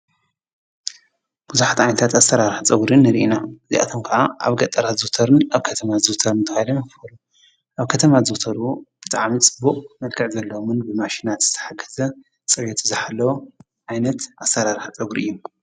ብዙሓት ዓይነታት ኣሰራርሓ ፀጉሪ ንሪኢ ኢና:: እዝይኣቶም ከዓ ኣብ ገጠራት ዝዝውተሩን ኣበ ከተማ ዝዝውተሩን ተባሂሎም ይፍለጡ። ኣብ ከተማ ዝዝውተሩ ብጣዕሚ ፅቡቅ መልክዕ ዘለዎ ብማሽናት ዝተሓገዘ ፅርየቱ ዝሓለወ ዓይነት ኣሰራርሓ ፀጉሪ እዩ።